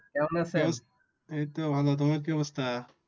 এইতো ভালো, তোমার কি অবস্থা?